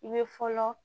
I bɛ fɔlɔ